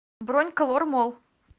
бронь колор молл